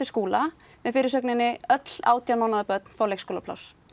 Skúla með fyrirsögninni öll átján mánaða börn fá leikskólapláss